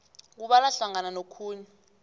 kubalwa hlangana nokhunye